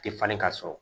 Tɛ falen ka sɔrɔ